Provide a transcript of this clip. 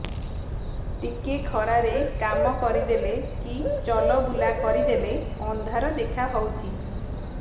ଟିକେ ଖରା ରେ କାମ କରିଦେଲେ କି ଚଲବୁଲା କରିଦେଲେ ଅନ୍ଧାର ଦେଖା ହଉଚି